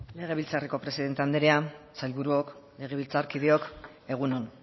legebiltzarreko presidente andrea sailburuok legebiltzarkideok egun on